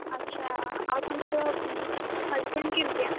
ଆଛା ଆଉ ତାଙ୍କର, husband କେମିତିଆ?